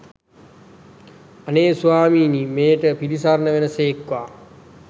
අනේ ස්වාමීනී මෙයට පිළිසරණ වන සේක්වා!